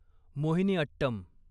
Mohiniyattam